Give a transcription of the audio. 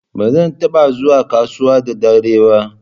Ba zan taba zuwa kasuwa da dare ba.